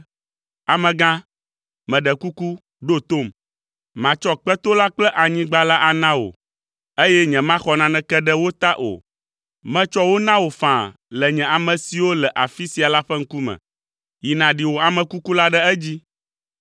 “Amegã, meɖe kuku, ɖo tom. Matsɔ kpeto la kple anyigba la ana wò, eye nyemaxɔ naneke ɖe wo ta o. Metsɔ wo na wò faa le nye ame siwo le afi sia la ƒe ŋkume. Yi nàɖi wò ame kuku la ɖe edzi.”